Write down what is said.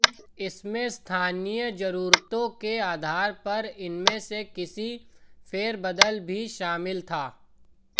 इसमें स्थानीय जरूरतों के आधार पर इनमें से किसी में फेरबदल भी शामिल था